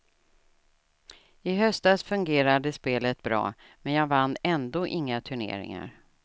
I höstas fungerade spelet bra, men jag vann ändå inga turneringar.